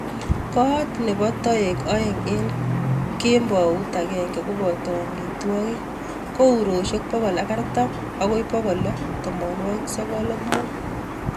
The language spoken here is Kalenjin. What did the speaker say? Kot nebo taek aeng eng kembaut agenge kopato amitwokik ko yuroishek pokol ak artam akui pokol lo tamwananik sogol ak mut.